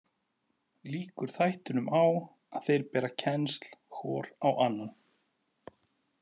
Lýkur þættinum á að þeir bera kennsl hvor á annan.